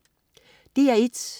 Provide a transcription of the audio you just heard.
DR1: